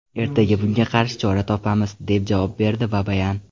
Ertaga bunga qarshi chora topamiz”, deb javob berdi Babayan.